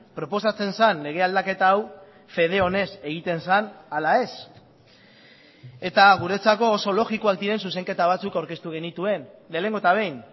proposatzen zen lege aldaketa hau fede honez egiten zen ala ez eta guretzako oso logikoak diren zuzenketa batzuk aurkeztu genituen lehenengo eta behin